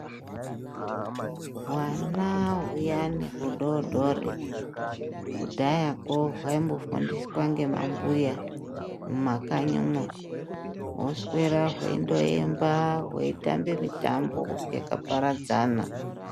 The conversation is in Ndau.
Wana uyani udoodori kudhaya poo waimbofundiswa ngemambuya mumakanyi umwo woswera weindoyembaa weitambe mitambo yakaparadzana.